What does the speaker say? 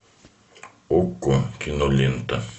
окко кинолента